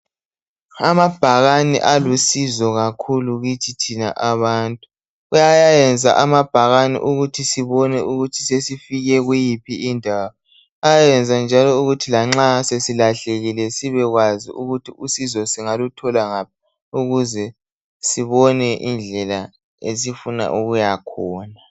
Amabhakani alusizo kakhulu kithi thina abantu. Kuyayenza amabhakani ukuthi sibone ukuthi sesifike kuyiphi indawo. Ayayenza njalo ukuthi lanxa sesilahlekile sibekwazi ukuthi usizo singaluthola ngaphi ukuze sibone indlela esifuna ukuya khona.